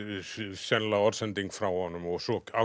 sennilega orðsending frá honum og svo